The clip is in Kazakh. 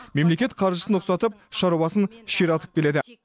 мемлекет қаржысын ұқсатып шаруасын ширатып келеді